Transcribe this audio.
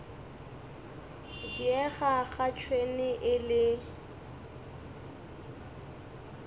diega ga tšhwene e le